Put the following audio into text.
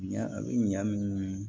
Ɲa a bɛ ɲa min